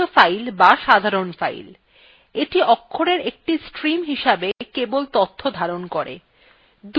১ নিয়মিত files অথবা সাধারণ files: এইটি অক্ষরের একটি stream হিসেবে কেবল তথ্য ধারণ করে